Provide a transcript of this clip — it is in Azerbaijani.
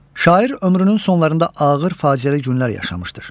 Şair ömrünün sonlarında ağır faciəli günlər yaşamışdır.